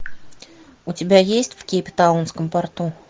у тебя есть в кейптаунском порту